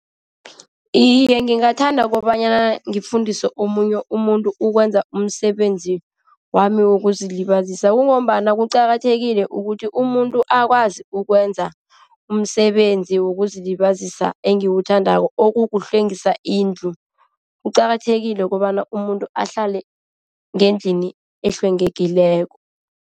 Iye, ngingathanda kobanyana ngifundise omunye umuntu ukwenza umsebenzi wami wokuzilibazisa. Kungombana kuqakathekile ukuthi umuntu akwazi ukwenza umsebenzi wokuzilibazisa engiwuthandako, okukuhlwengisa indlu. Kuqakathekile kobana umuntu ahlale ngendlini ehlwengekileko.